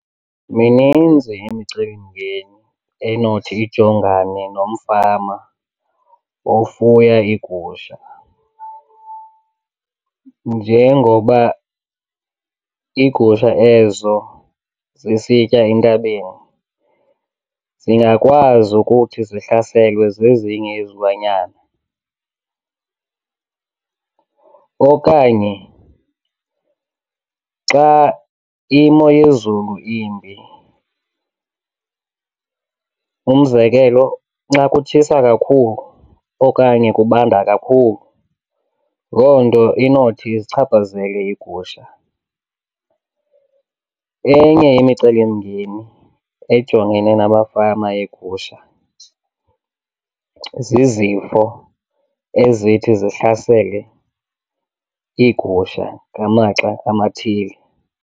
Mininzi imicelimngeni enothi ijongane nomfama Ofuya iigusha. Njengoba iigusha ezo zisitya entabeni, zingakwazi ukuthi zihlaselwe zezinye izilwanyana. Okanye xa imo yezulu imbi, umzekelo nxa kutshisa kakhulu okanye kubanda kakhulu, loo nto inothi izichaphazele iigusha. Enye yemicelimngeni ejongene namafama egusha zizifo ezithi zihlasele iigusha ngamaxa amathile.